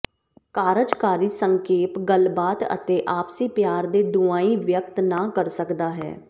ਕਾਰਜਕਾਰੀ ਸੰਖੇਪ ਗੱਲਬਾਤ ਅਤੇ ਆਪਸੀ ਪਿਆਰ ਦੇ ਡੂੰਘਾਈ ਵਿਅਕਤ ਨਾ ਕਰ ਸਕਦਾ ਹੈ